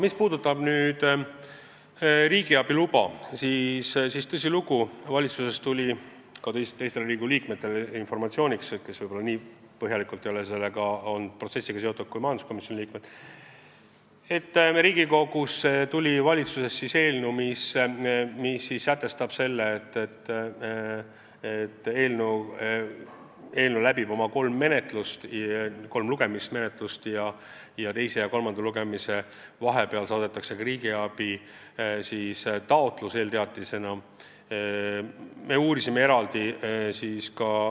Mis puudutab riigiabiluba, siis tõsilugu, valitsus saatis informatsiooni ka nendele Riigikogu liikmetele, kes ei ole selle protsessiga nii seotud kui majanduskomisjoni liikmed, et Riigikogusse saadeti eelnõu, mille puhul nähakse ette, et eelnõu läbib kolm lugemist ning teise ja kolmanda lugemise vahel esitatakse eelteatisena riigiabitaotlus.